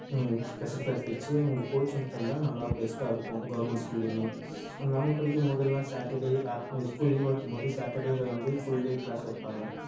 ஹம் special class வச்சு இவங்களுக்கு coaching தந்தா நல்லா best ஆ இருக்கும் government school அயுமே நாங்க படிக்கும் போதெல்லாம் saturday afternoon school leave ஆ இருக்கும் போது saturday ல வந்து full day class வைப்பாங்க